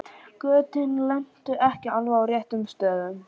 Götin lentu ekki á alveg réttum stöðum.